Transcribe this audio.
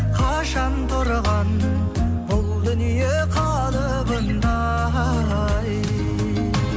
қашан тұрған бұл дүние қалыбында ай